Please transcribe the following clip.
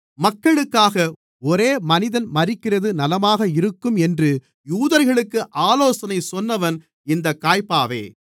மக்களுக்காக ஒரே மனிதன் மரிக்கிறது நலமாக இருக்கும் என்று யூதர்களுக்கு ஆலோசனை சொன்னவன் இந்தக் காய்பாவே